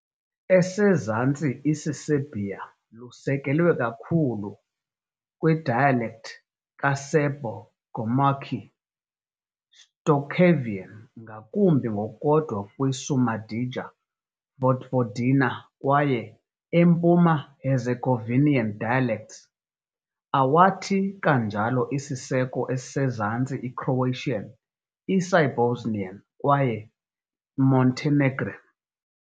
Esezantsi isiSerbia lusekelwe kakhulu widespread dialect ka-Serbo-gurmukhi, Shtokavian, ngakumbi ngokukodwa kwi -Šumadija-Vojvodina kwaye Empuma Herzegovinian dialects, awathi kanjalo isiseko Esezantsi i-Croatian, iSibosnian, kwaye Montenegrin.